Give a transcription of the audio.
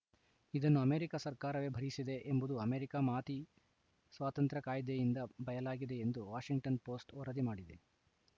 ಇದನ್ನು ಅಮೆರಿಕ ಸರ್ಕಾರವೇ ಭರಿಸಿದೆ ಎಂಬುದು ಅಮೆರಿಕ ಮಾತಿ ಸ್ವಾತಂತ್ರ್ಯ ಕಾಯ್ದೆಯಿಂದ ಬಯಲಾಗಿದೆ ಎಂದು ವಾಷಿಂಗ್ಟನ್‌ ಪೋಸ್ಟ್‌ ವರದಿ ಮಾಡಿದೆ